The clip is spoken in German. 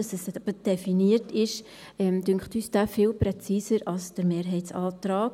Indem es definiert ist, scheint er uns viel präziser als der Mehrheitsantrag.